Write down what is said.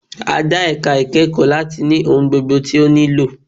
A dá ẹ̀ka ìkẹ́kọ̀ọ́ láti ní ohun gbogbo tí ó nílò.